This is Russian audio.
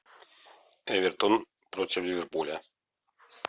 эвертон против ливерпуля